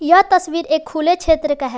यह तस्वीर एक खुले क्षेत्र का है।